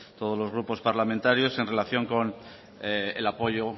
todos los grupos parlamentarios en relación con el apoyo